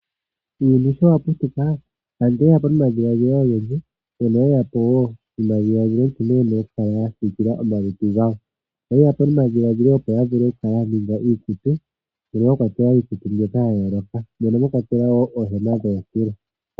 Uuyuni shoka wa putuka aantu oye yapo nomadhiladhilo ogendji, moka yeyapo wo nomadhiladhilo nkene yena oku kala ya siikila omalutu gawo. Oyeya po nomadhiladhilo opo ya ninge iikutu, moka mwa kwatelwa iikuti ya yooloka, mwa kwatelwa woo oohema dhoontulo.